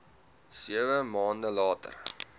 sewe maande later